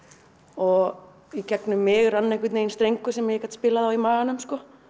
og í gegnum mig rann einhvern veginn strengur sem ég gat spilað á í maganum